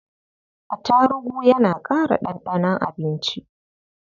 Atarugu yana ƙara ɗanɗanon abinci.